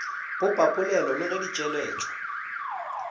popapolelo le ge di tšweletšwa